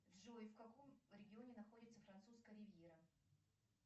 джой в каком регионе находится французская ривьера